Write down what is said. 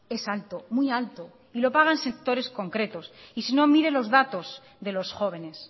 es alto muy alto y lo pagan sectores concretos y si no mire los datos de los jóvenes